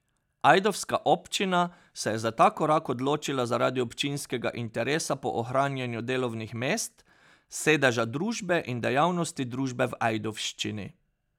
Ajdovska občina se je za ta korak odločila zaradi občinskega interesa po ohranjanju delovnih mest, sedeža družbe in dejavnosti družbe v Ajdovščini.